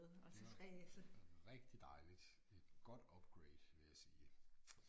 Det var rigtig dejligt et godt upgrade vil jeg sige